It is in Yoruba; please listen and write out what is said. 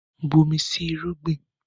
Bomi sí irúgbìn!